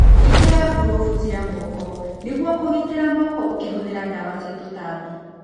ĩkĩra ngurũbu cia moko nĩguo kũgitĩra moko ũkĩhũthĩra ndawa cia tũtambi.